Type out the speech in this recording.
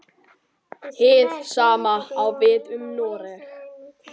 Hið sama á við um Noreg.